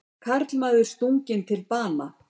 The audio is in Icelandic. Karlmaður stunginn til bana